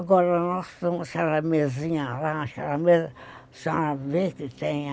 Agora nós tomamos uma charamezinha lá, uma charameza, só a ver que tem a...